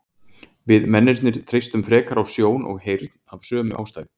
við mennirnir treystum frekar á sjón og heyrn af sömu ástæðu